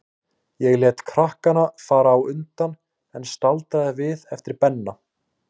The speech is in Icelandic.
Ég lét krakkana fara á undan, en staldraði við eftir Benna.